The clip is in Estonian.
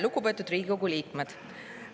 Lugupeetud Riigikogu liikmed!